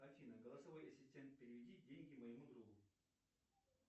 афина голосовой ассистент переведи деньги моему другу